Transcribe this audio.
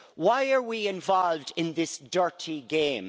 Why are we involved in this dirty game?